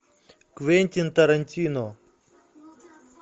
квентин тарантино